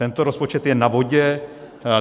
Tento rozpočet je na vodě.